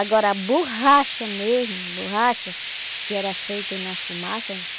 Agora, a borracha mesmo, borracha, que era feita na fumaça.